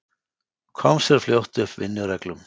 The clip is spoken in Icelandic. Kom sér fljótt upp vinnureglum.